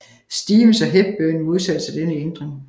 Stevens og Hepburn modsatte sig denne ændring